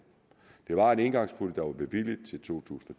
det var en engangspulje der var bevilget til to tusind og